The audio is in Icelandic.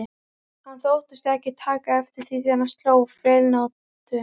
Hann þóttist ekki taka eftir því þegar hann sló feilnótu.